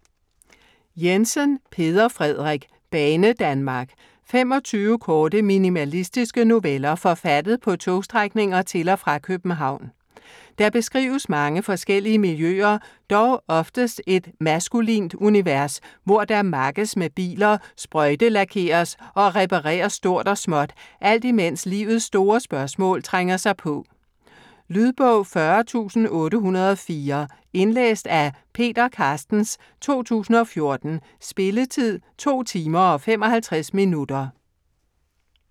Jensen, Peder Frederik: Banedanmark 25 korte, minimalistiske noveller forfattet på togstrækninger til og fra København. Der beskrives mange forskellige miljøer dog oftest et maskulint univers, hvor der makkes med biler, sprøjtelakeres og repareres stort og småt, alt i mens livets store spørgsmål trænger sig på. Lydbog 40804 Indlæst af Peter Carstens, 2014. Spilletid: 2 timer, 55 minutter.